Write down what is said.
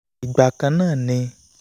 ìgbà kan náà ni